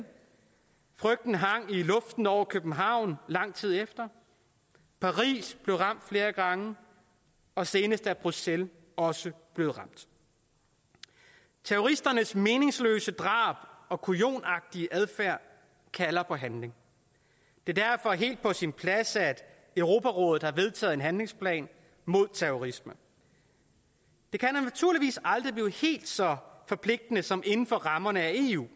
frygten hang i luften over københavn lang tid efter paris blev ramt flere gange og senest er bruxelles også blevet ramt terroristernes meningsløse drab og kujonagtige adfærd kalder på handling det er derfor helt på sin plads at europarådet har vedtaget en handlingsplan mod terrorisme det kan naturligvis aldrig blive helt så forpligtende som inden for rammerne af eu